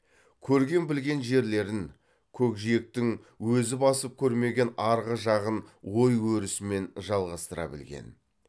көрген білген жерлерін көкжиектің өзі басып көрмеген арғы жағын ой өрісімен жалғастыра білген